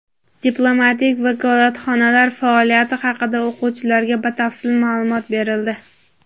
diplomatik vakolatxonalar faoliyati haqida o‘quvchilarga batafsil ma’lumot berildi.